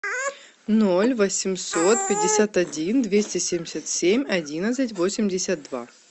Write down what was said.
ноль восемьсот пятьдесят один двести семьдесят семь одиннадцать восемьдесят два